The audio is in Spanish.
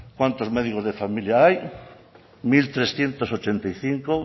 cuántos médicos de familia hay mil trescientos ochenta y cinco